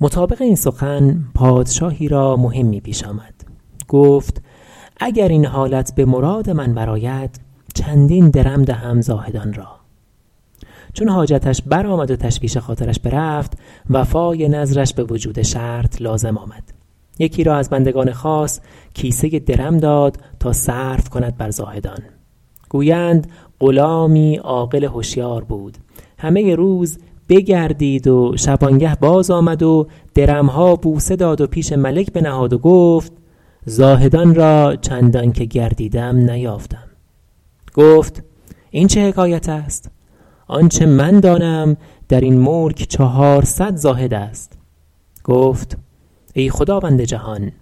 مطابق این سخن پادشاهی را مهمی پیش آمد گفت اگر این حالت به مراد من بر آید چندین درم دهم زاهدان را چون حاجتش برآمد و تشویش خاطرش برفت وفای نذرش به وجود شرط لازم آمد یکی را از بندگان خاص کیسه ای درم داد تا صرف کند بر زاهدان گویند غلامی عاقل هشیار بود همه روز بگردید و شبانگه باز آمد و درم ها بوسه داد و پیش ملک بنهاد و گفت زاهدان را چندان که گردیدم نیافتم گفت این چه حکایت است آنچه من دانم در این ملک چهارصد زاهد است گفت ای خداوند جهان